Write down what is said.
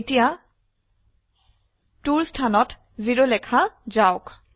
এতিয়া 2ৰ স্থানত 0 লেখা যাওক